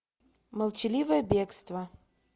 молчаливое бегство